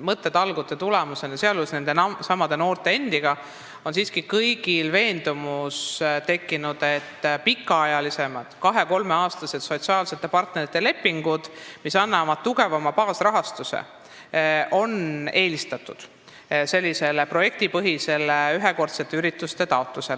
mõttetalgute tulemusena – sealjuures toimusid need koos nendesamade noorte endiga – on siiski kõigil tekkinud veendumus, et pikaajalisemaid, kahe-kolmeaastaseid sotsiaalsete partnerite lepinguid, mis annavad tugevama baasrahastuse, tuleks eelistada projektipõhistele taotlustele ühekordsete ürituste jaoks.